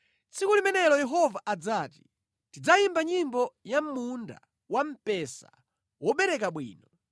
Tsiku limenelo Yehova adzati, “Tidzayimba nyimbo ya munda wamphesa wobereka bwino: